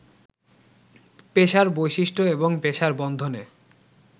পেশার বৈশিষ্ট্য এবং পেশার বন্ধনে